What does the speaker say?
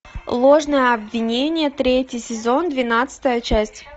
ложное обвинение третий сезон двенадцатая часть